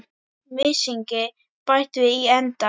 Mysingi bætt við í endann.